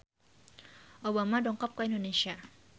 Obama dongkap ka Indonesia